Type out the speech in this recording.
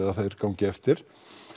að þeir gangi eftir